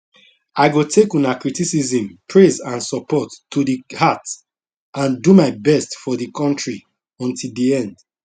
i go take una criticism praise and support to di heart and do my best for di kontri until di end